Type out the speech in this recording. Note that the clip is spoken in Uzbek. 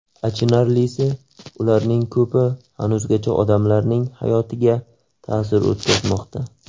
Achinarlisi, ularning ko‘pi hanuzgacha odamlarning hayotiga ta’sir o‘tkazmoqda.